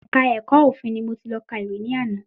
Ẹ̀ka ẹ̀kọ́ òfin ni mo ti lọ ka ìwé ní àná